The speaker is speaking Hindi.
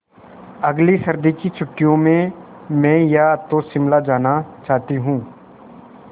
अगली सर्दी की छुट्टियों में मैं या तो शिमला जाना चाहती हूँ